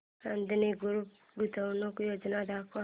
Adani group गुंतवणूक योजना दाखव